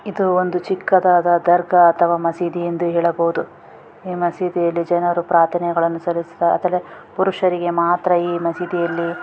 ಇದು ಒಂದು ಚಿಕ್ಕದಾದ ದರ್ಗಾ ಅಥವಾ ಮಸೀದಿ ಎಂದು ಹೇಳಬಹುದು ಈ ಮಸೀದಿಯಲ್ಲಿ ಜನರು ಪ್ರಾರ್ಥನೆಗಳನ್ನು ಸಲ್ಲಿಸುತ್ತಾ ಆದರೆ ಪುರುಷರಿಗೆ ಮಾತ್ರ ಈ ಮಸೀದಿಯಲ್ಲಿ.